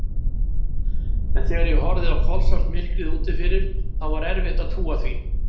En þegar ég horfði í kolsvart myrkrið úti fyrir, þá var erfitt að trúa því.